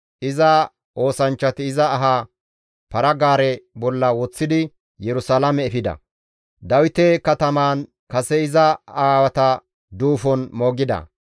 Iza oosanchchati iza aha para-gaare bolla woththidi Yerusalaame efida; Dawite katamaan kase iza aawata duufon moogida.